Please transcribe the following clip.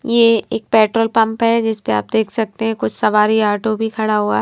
यह एक petrol pump है जिसमें आप देख सकते हैं कुछ सवारी ऑटो भी खड़ा हुआ है।